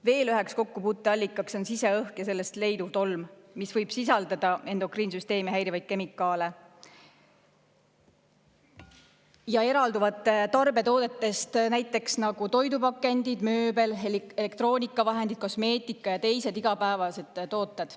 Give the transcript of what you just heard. Veel üheks kokkupuuteallikaks on siseõhk ja selles leiduv tolm, mis võib sisaldada endokriinsüsteemi häirivaid kemikaale, mis on eraldunud tarbetoodetest, näiteks nagu toidupakendid, mööbel, elektroonikavahendid, kosmeetika ja teised igapäevased tooted.